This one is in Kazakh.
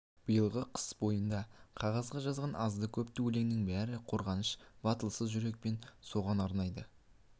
биылғы қыс бойында қағазға жазған азды-көпті өлеңінің бәрін қорғаншақ батылсыз жүрекпен соған арнайды